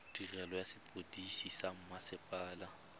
tirelo ya sepodisi sa mmasepala